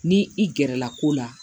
Ni i gɛrɛla ko la